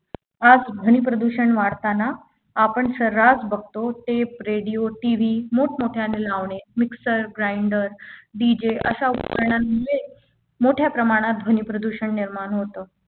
आज ध्वनी प्रदूषण वाढताना आपण सर्रास बघतो Tape radio TV मोठमोठ्याने लावणे ज mixer grinder DJ अशा उपकरणांमुळे मोठ्या प्रमाणात ध्वनी प्रदूषण निर्माण होतात